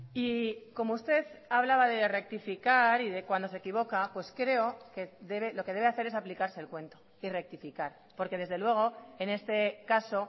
y como usted hablaba de rectificar y de cuando se equivoca pues creo que lo que debe hacer es aplicarse el cuento y rectificar porque desde luego en este caso